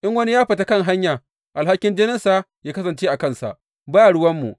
In wani ya fita kan hanya, alhakin jininsa yă kasance a kansa; ba ruwanmu.